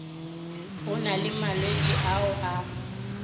go na le malwetši ao